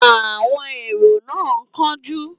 Àwọn èrò náà ń kánjú.